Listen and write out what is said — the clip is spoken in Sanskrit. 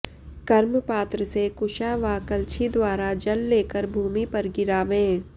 कर्मपात्र से कुशा वा कलछी द्वारा जल लेकर भूमि पर गिरावे